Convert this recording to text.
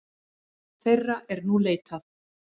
Þeirra er nú leitað.